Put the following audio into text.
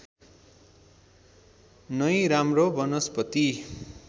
नै राम्रो वनस्पति